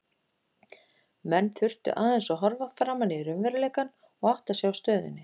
Menn þurftu aðeins að horfa framan í raunveruleikann og átta sig á stöðunni.